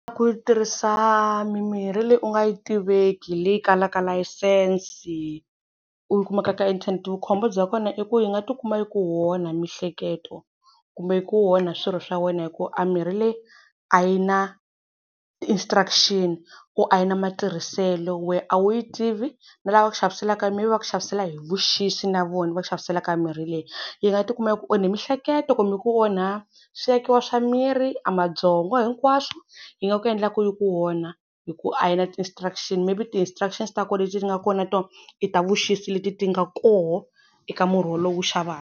Ku tirhisa mimirhi leyi u nga yi tiveki leyi kalaka layisense u yi kumaka ka inthanete, vu khombo bya kona i ku yi nga ti kuma yi ku onha mihleketo kumbe ku yi ku onha swirho swa wena, hi ku a mirhi leyi a yi na ti-instructions ku a yi na matirhiselo wehe a wu yi tivi na lava ku xaviselaka maybe va ku xavisela hi vuxisi na vona va ku xaviselaka mirhi leyi. Yi nga tikuma yi ku onhe mihleketo kumbe yi ku onha swi akiwa swa mirhi swa miri a mabyongo hinkwaswo yi nga ku endla ku yi ku onha hi ku a yi na ti-instructions maybe ti-instructions ta kona leti nga kona nato i ta vuxisi leti ti nga koho eka murhi wolowo u wu xavaka.